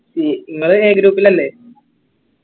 C ഇങ്ങള് A group ലല്ലെ